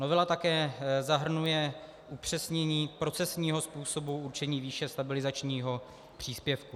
Novela také zahrnuje upřesnění procesního způsobu určení výše stabilizačního příspěvku.